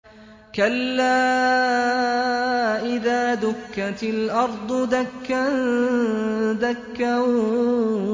كَلَّا إِذَا دُكَّتِ الْأَرْضُ دَكًّا دَكًّا